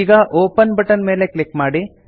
ಈಗ open button ಮೇಲೆ click ಮಾಡಿ